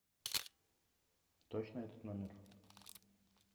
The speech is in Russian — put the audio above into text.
точно этот номер